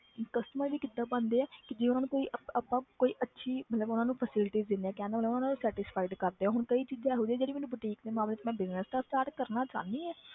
Customer ਵੀ ਕਿੱਦਾਂ ਬਣਦੇ ਹੈ ਕਿ ਜੇ ਉਹਨਾਂ ਨੂੰ ਕੋਈ ਆਪਾਂ ਆਪਾਂ ਕੋਈ ਅੱਛੀ ਮਤਲਬ ਉਹਨਾਂ ਨੂੰ facilities ਦਿੰਦੇ ਹਾਂ ਕਹਿਣ ਦਾ ਮਤਲਬ ਉਹਨਾਂ ਨੂੰ satisfied ਕਰਦੇ ਹਾਂ ਹੁਣ ਕਈ ਚੀਜ਼ਾਂ ਇਹੋ ਜਿਹੀਆਂ ਜਿਹੜੀ ਮੈਨੂੰ boutique ਦੇ ਮਾਮਲੇ 'ਚ ਮੈਂ business ਤਾਂ start ਕਰਨਾ ਚਾਹੁੰਦੀ ਹਾਂ